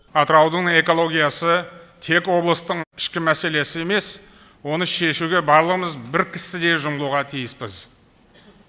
атыраудың экологиясы тек облыстың ішкі мәселесі емес оны шешуге барлығымыз бір кісідей жұмылуға тиіспіз